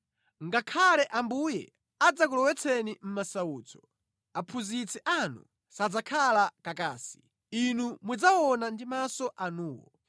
Ngakhale Ambuye adzakulowetseni mʼmasautso, aphunzitsi anu sadzakhala kakasi; inu mudzawaona ndi maso anuwo.